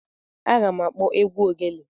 Aga m akpọ egwu ogele.